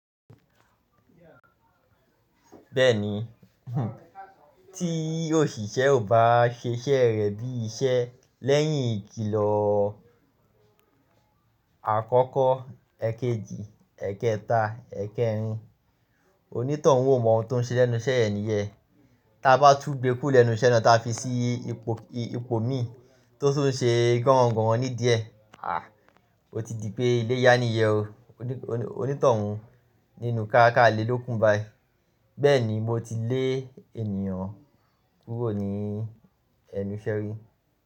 Bẹ́ẹ̀ni, tí òṣìṣẹ́ ò bá ṣe iṣẹ́ rẹ̀ bí i iṣẹ́ lẹ́yìn ìkìlọ̀ àkọ́kọ́, èkejì, èkẹta, èkẹrin, onítọ̀hún ó mọ ohun tó ń ṣe lẹ́nu iṣẹ́ ẹni yẹn. Tí a bá tú gbé kú lẹ́nu iṣẹ́ náà táa fi sí ipò mi tó sún ṣe ganran ganran ní di ẹ, a! Ó ti di pé iléyá ni yen o. Onítọ̀hún nínú káá kàá le ló kún bai. Bẹ́ẹ̀ni, mo ti lé ènìyàn kúrò ní ẹnu iṣẹ́ rí.